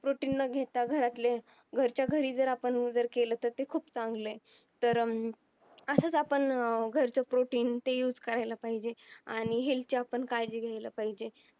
protin न घेता घरातले घराच्या घरी जर आपण केलं तर ते खूप चांगलं ये तर अं असंच आपण घरचं protein ते use करायला पाहिजे आणि health ची आपण काळजी घ्यायला पाहिजे